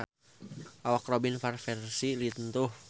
Awak Robin Van Persie lintuh